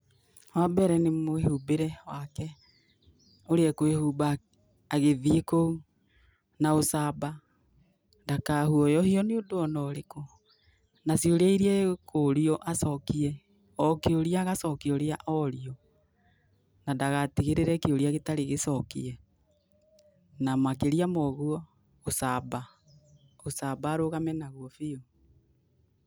Wambere nĩ mwĩhumbĩre wake ũrĩa ekwĩhumba agĩthiĩ kũu, na ucamba ndakaguũyũhio nĩ ũndũ ona ũrĩkũ, na ciũria iria ekũrio acokie, o kĩũria agacokia ũrĩa orio, na ndagatigĩrĩre kĩũria gĩtarĩ gĩcokie na makĩria ma ũguo ũcamba, ũcamba arũgame naguo biũ.